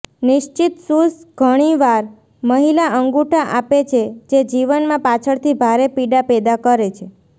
નિશ્ચિત શૂઝ ઘણીવાર મહિલા અંગૂઠા આપે છે જે જીવનમાં પાછળથી ભારે પીડા પેદા કરે છે